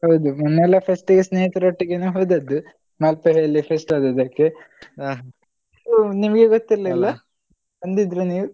ಹೌದು ಮೊನ್ನೆ ಎಲ್ಲ first ಗೆ ಸ್ನೇಹಿತರೊಟ್ಟಿಗೆನೇ ಹೋದದ್ದು ಮಲ್ಪೆಯಲ್ಲಿ fest ಇದ್ದದ್ದಕ್ಕೆ ನಿಮ್ಗೆ ಗೊತ್ತಿರ್ಲಿಲ್ಲವಾ? ಬಂದಿದ್ರು ನೀವು?